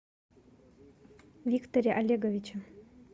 викторе олеговиче